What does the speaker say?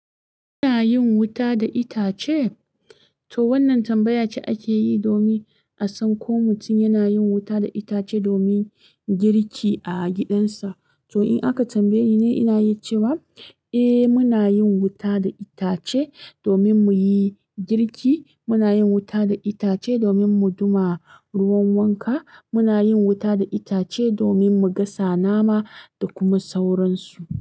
Muna yin wuta da itace? To wannan tambaya ce ake yi domin a san ko mutum yana yin wuta da itace domin girki a gidansa. To in aka tambaye ni, ina yi cewa eh muna yin wuta da itace domin mu yi girki. Muna yin wuta da itace domin mu ɗuma ruwan wanka. Muna yin wuta da itace domin mu gasa nama da kuma sauransu.